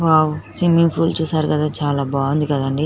Wow swimming pool చూసారు కదాచాలా బాగుంది కదండి.